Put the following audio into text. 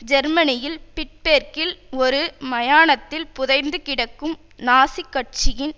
ஜெர்மனியில் பிட்பேர்க்கில் ஓரு மயானத்தில் புதைந்து கிடக்கும் நாசிக் கட்சியின்